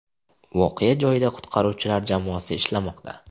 Voqea joyida qutqaruvchilar jamoasi ishlamoqda.